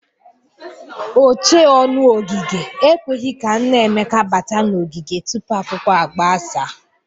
Ochee ọnụ ogige ekweghi ka nna Emeka bata n'ogige tupu akwụkwọ agbasa.